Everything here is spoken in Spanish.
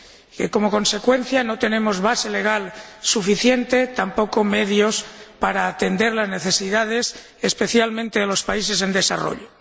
Y de que, como consecuencia, no tenemos base legal suficiente ni tampoco medios para atender las necesidades, especialmente de los países en desarrollo.